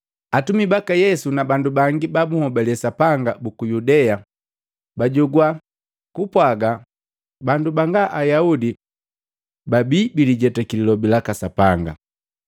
Atumi baka Yesu na bandu bangi ba bunhobale Sapanga buku Yudea bajogwa kupwaga bandu banga ayaudi babi bilijetaki lilobi laka Sapanga.